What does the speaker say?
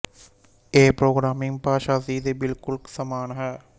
ਏ programming ਭਾਸ਼ਾ C ਦੇ ਬਿਲਕੁਲ ਸਮਾਨ ਹੈ